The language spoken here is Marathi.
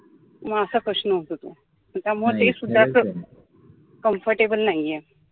म असा प्रश्न होतो तो त्यामुळे तेसुद्धा comfortable नाहीये